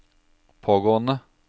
pågående